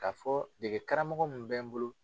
K'a fɔ dege karamɔgɔ minnu bɛ n bolo.